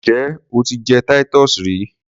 Njẹ o ti jẹ Titus rí?